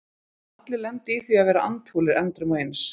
Allir lenda í því að vera andfúlir endrum og eins.